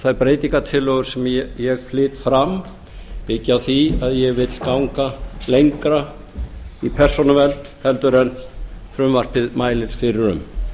þær breytingartillögur sem ég flyt fram byggja á því að ég vil ganga lengra í persónuvernd heldur en frumvarpið mælir fyrir um